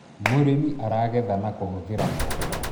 mũrĩmi aragetha na kuhutira moko